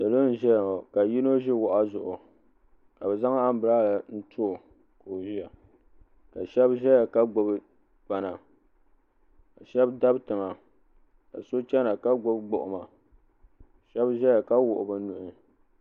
salo n ʒɛya ŋɔ ka yino ʒi wahu zuɣu ka bi zaŋ anbirɛla n too ka o ʒiya ka shan ʒɛya ka gbubi kpana ka shab dabi tiŋa ka so chɛna ka gbubi gbuɣuma ka shab ʒɛya ka wuɣi bi nuhi